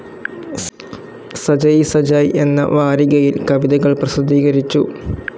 സജയിസജായ് എന്ന വാരികയിൽ കവിതകൾ പ്രസിദ്ധീകരിച്ചു.